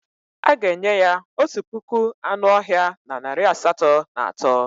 A ga-enye ya otu puku anụ ọhịa na narị asatọ na atọ.